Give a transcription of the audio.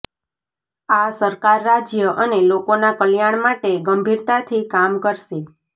આ સરકાર રાજ્ય અને લોકોના કલ્યાણ માટે ગંભીરતાથી કામ કરશે